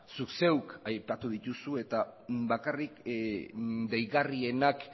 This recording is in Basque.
zuk zeuk aipatu dituzu eta bakarrik deigarrienak